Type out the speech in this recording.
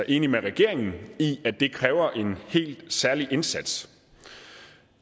enig med regeringen i at det kræver en helt særlig indsats